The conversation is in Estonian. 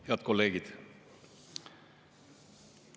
Head kolleegid!